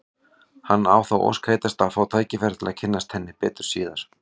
Hann á þá ósk heitasta að fá tækifæri til að kynnast henni betur síðar.